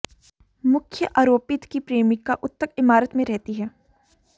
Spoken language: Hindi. मुख्य आरोपित की प्रेमिका उक्त इमारत में रहती है